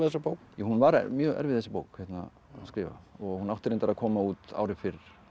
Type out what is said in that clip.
bók já hún var mjög erfið þessi bók að skrifa hún átti reyndar að koma út ári fyrr